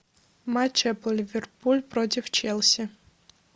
матч апл ливерпуль против челси